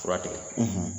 Fura tigɛ